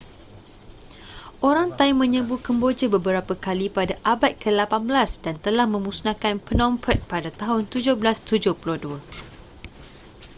orang thai menyerbu kemboja beberapa kali pada abad ke-18 dan telah memusnahkan phnom penh pada tahun 1772